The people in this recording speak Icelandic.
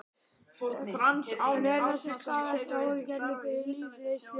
En er þessi staða ekki áhyggjuefni fyrir lífeyrissjóðina?